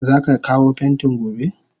Zaka kawo pentin gobe?